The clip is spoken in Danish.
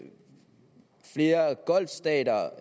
flere golfstater og